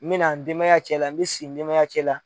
N mɛna n denmaya cɛ la n mɛ si n denmaya cɛ la.